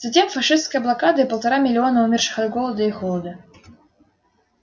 затем фашистская блокада и полтора миллиона умерших от голода и холода